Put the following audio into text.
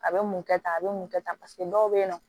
A bɛ mun kɛ tan a bɛ mun kɛ tan paseke dɔw bɛ yen nɔ